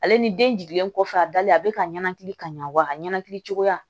Ale ni den jiginlen kɔfɛ a dalen a bɛ ka ɲɛnakili ka ɲa wa a ka ɲɛnkili cogoya